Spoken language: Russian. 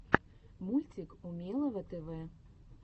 мультик умелого тв